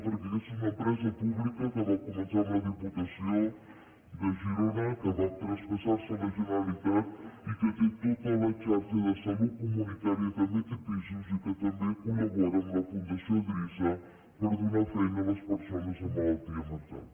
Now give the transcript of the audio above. perquè aquesta és una empresa pública que va començar amb la diputació de girona que va traspassar se a la generalitat i que té tota la xarxa de salut comunitària també té pisos i que també col·labora amb la fundació drissa per donar feina a les persones amb malaltia mental